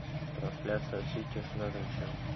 трансляция сити с норвичем